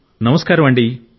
నమస్కారమండీ